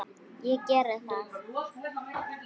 Ég geri það